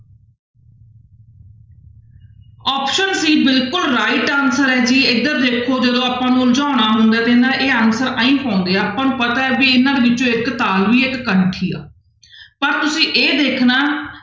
Option b ਬਿਲਕੁਲ right answer ਹੈ ਜੀ ਇੱਧਰ ਦੇਖੋ ਜਦੋਂ ਆਪਾਂ ਨੂੰ ਉਲਝਾਉਣਾ ਹੁੰਦਾ ਹੈ ਤੇ ਨਾ ਇਹ answer ਇਉਂ ਪਾਉਂਦੇ ਆ ਆਪਾਂ ਨੂੰ ਪਤਾ ਵੀ ਇਹਨਾਂ ਵਿੱਚੋਂ ਇੱਕ ਤਾਲਵੀ ਹੈੈ ਇੱਕ ਕੰਠੀ ਹੈ ਪਰ ਤੁਸੀਂ ਇਹ ਦੇਖਣਾ